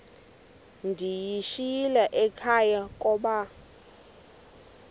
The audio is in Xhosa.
ndiyishiyile ekhaya koba